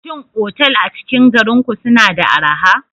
Shin otal a cikin garin ku suna da araha?